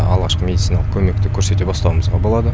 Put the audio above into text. алғашқы медициналық көмек көрсете бастауымызға болады